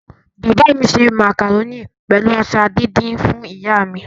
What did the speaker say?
Bàbá mi se màkàrónì pẹ̀lú ata díndín fún ìyá mi.